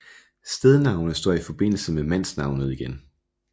Stednavnet står i forbindelse med mandsnavnet gen